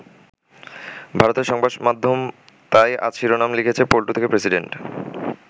ভারতের সংবাদ মাধ্যম তাই আজ শিরোনামে লিখেছে 'পল্টু থেকে প্রেসিডেন্ট'।